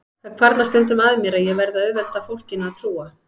Það hvarflar stundum að mér að ég verði að auðvelda fólkinu að trúa